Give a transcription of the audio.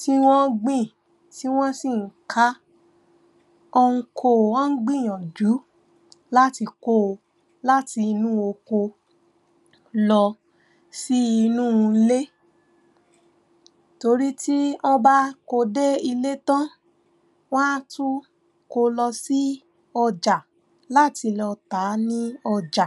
tí wọ́n gbìn tí wọ́n sì ń ká, wọ́n ń ko, wọ́n ń gbìyànjú láti ko láti inú oko lọ sí inú ilé tórí tí wọ́n bá ko dé ilé tán, wọ́n á tún ko lọ sí ọjà láti lọ tàá ní ọjà